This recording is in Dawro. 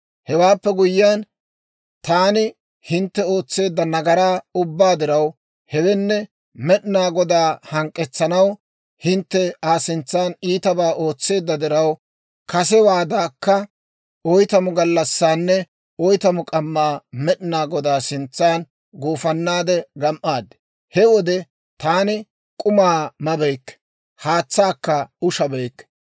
«Hewaappe guyyiyaan, taani hintte ootseedda nagaraa ubbaa diraw, hewenne Med'inaa Godaa hank'k'etsanaw hintte Aa sintsan iitabaa ootseedda diraw, kasewaadankka oytamu gallassaanne oytamu k'ammaa Med'inaa Godaa sintsan gufannaade gam"aad; he wode taani k'uma mabeykke; haatsaakka ushabeykke.